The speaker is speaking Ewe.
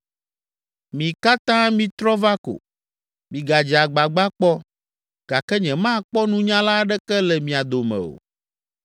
“Mi katã mitrɔ va ko, migadze agbagba kpɔ! Gake nyemakpɔ nunyala aɖeke le mia dome o.